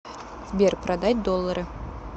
сбер продать доллары